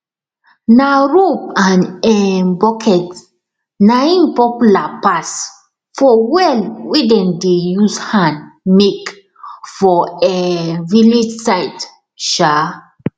nah rope and um bucket nah im popular pass for well wey dem dey use hand make for um village side um